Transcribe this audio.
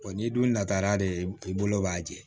n'i dun natara de i bolo b'a jɛ